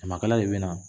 Samakala de bɛ na